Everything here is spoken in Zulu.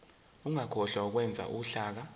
ungakhohlwa ukwenza uhlaka